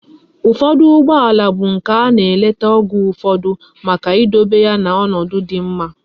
Ufodu Ugbo ala bu nke ana eleta Oge ufodu Maka idobe ya na onodu di mma